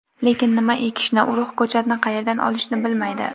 Lekin nima ekishni, urug‘, ko‘chatni qayerdan olishni bilmaydi.